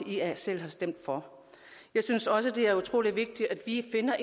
selv har stemt for jeg synes også det er utrolig vigtigt at vi finder